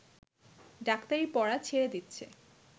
ডাক্তারি পড়া ছেড়ে দিচ্ছে